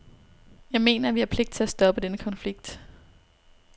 Jeg mener, at vi har pligt til at stoppe den konflikt.